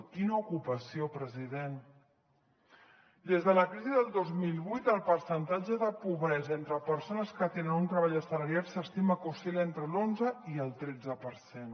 quina ocupació president des de la crisi del dos mil vuit el percentatge de pobresa entre persones que tenen un treball assalariat s’estima que oscil·la entre l’onze i el tretze per cent